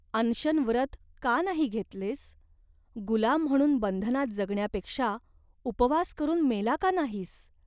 अनशन व्रत का नाही घेतलेस ? गुलाम म्हणून बंधनात जगण्यापेक्षा उपवास करून मेला का नाहीस ?